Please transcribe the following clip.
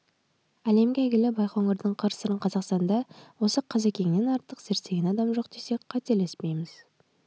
әлемге әйгілі байқоңырдың қыр-сырын қазақстанда осы қозыкеңнен артық зерттеген адам жоқ десек қателеспейміз